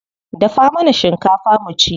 Dafa mana shinkafa mu ci.